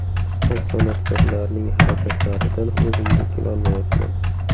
Ustoz san’atkorlarning harakatlaridan o‘zimga kelolmayapman”.